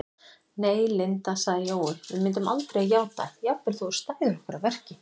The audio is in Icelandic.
Nei, Linda sagði Jói, við myndum aldrei játa, jafnvel þótt þú stæðir okkur að verki